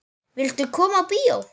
Viltu koma á bíó?